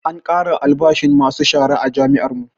An ƙara albashin masu shara a jami'ar mu